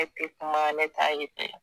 Ne tɛ kuma ne t'a ye